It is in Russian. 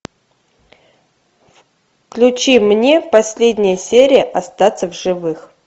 включи мне последняя серия остаться в живых